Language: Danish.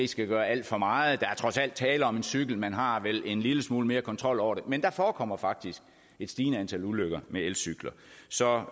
skal gøre alt for meget der er trods alt tale om en cykel man har vel en lille smule mere kontrol over den men der forekommer faktisk et stigende antal ulykker med elcykler så